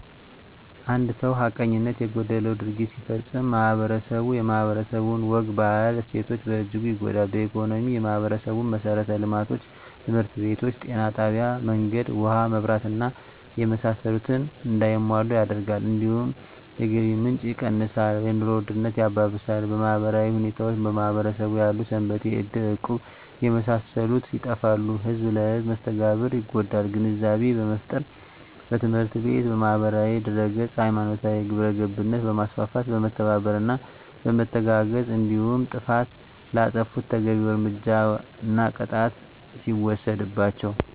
አንድ ሰው ሀቀኝነት የጎደለው ድርጊት ሲፈፀም ማህበረስቡ የማህበረሰቡ ወግ ባህል እሴቶች በእጅጉ ይጎዳል በኢኮኖሚ የማህበረሰቡን መሠረተ ልማቶች( ትምህርት ቤቶች ጤና ጣቢያ መንገድ ውሀ መብራት እና የመሳሰሉት) እንዳይሟሉ ያደርጋል እንዲሁም የገቢ ምንጭ የቀንሳል የኑሮ ውድነት ያባብሳል በማህበራዊ ሁኔታዎች በማህበረሰቡ ያሉ ሰንበቴ እድር እቁብ የመሳሰሉት ይጠፋሉ ህዝብ ለህዝም መስተጋብሩ ይጎዳል ግንዛቤ በመፍጠር በትምህርት ቤት በማህበራዊ ድህረገፅ ሀይማኖታዊ ግብረገብነት በማስፋት በመተባበርና በመተጋገዝ እንዲሁም ጥፍት ላጠፉት ተገቢዉን እርምጃና ቅጣት ሲወሰድባቸው